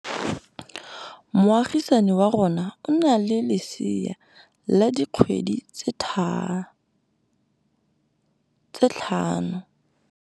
Moagisane wa rona o na le lesea la dikgwedi tse tlhano.